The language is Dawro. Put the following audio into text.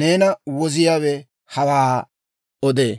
neena Woziyaawe hawaa odee.